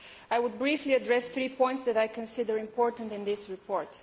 I will briefly address three points which I consider important in this report.